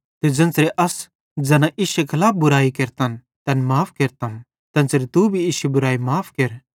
ते ज़ेन्च़रे अस ज़ैना इश्शे खलाफ बुराई केरतन तैन माफ़ केरतम तेन्च़रे तू भी इश्शी बुरैई माफ़ केर